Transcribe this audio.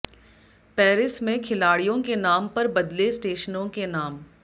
Paris में खिलाड़ियों के नाम पर बदले स्टशनों के नाम